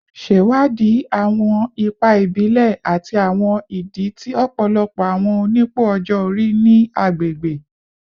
Ṣewadii awọn ipa ibile ati awọn idi ti ọpọlọpọ awọn onipò ọjọ-ori ni agbegbe